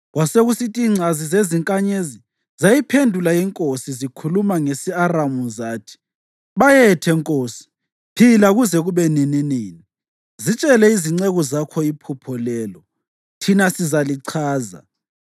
Kwasekusithi ingcazi zezinkanyezi zayiphendula inkosi zikhuluma ngesi-Aramu zathi, “Bayethe, nkosi! Phila kuze kube nininini! Zitshele izinceku zakho iphupho lelo, thina sizalichaza.”